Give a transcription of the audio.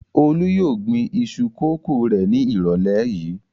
Olú yóò gbin iṣu kòkó rẹ̀ ní ìrọ̀lẹ́ yìí.